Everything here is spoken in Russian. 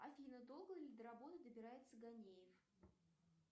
афина долго ли до работы добирается ганеев